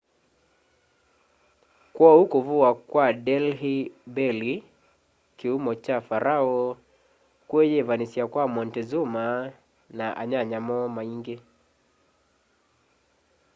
kwoou kuvuwa kwa delhi belly kiumo kya pharaoh kwiyivanisya kwa montezuma na anyanya moo maingi